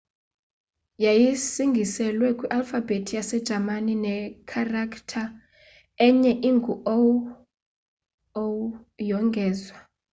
yayisingiselwe kwi alfabhethi yase jamani ne kharaktha enye engu õ/õ yongezwa